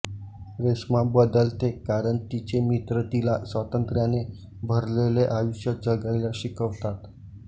रेश्मा बदलते कारण तिचे मित्र तिला स्वातंत्र्याने भरलेले आयुष्य जगायला शिकवतात